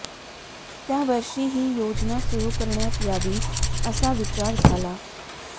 त्यावर्षी ही योजना सुरू करण्यात यावी असा विचार झाला